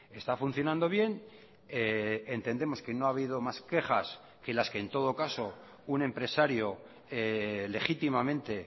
está funcionando bien entendemos que no ha habido más quejas que las que en todo caso un empresario legítimamente